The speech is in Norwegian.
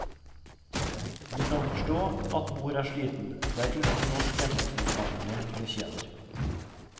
Vi kan forstå at mor er sliten, det er ingen norsk gjennomsnittsfamilie hun betjener.